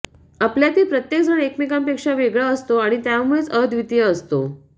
आपल्यातील प्रत्येक जण एकमेकांपेक्षा वेगळा असतो आणि त्यामुळेच अद्वितीय असतो